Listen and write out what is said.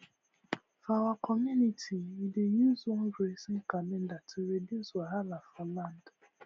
for our community we dey use one grazing calendar to reduce wahala for land